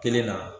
Kelen na